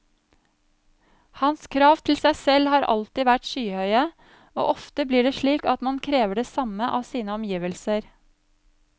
Hans krav til seg selv har alltid vært skyhøye, og ofte blir det slik at man krever det samme av sine omgivelser.